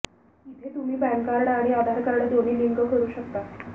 इथे तुम्ही PAN card आणि आधार कार्ड दोन्ही लिंक करू शकता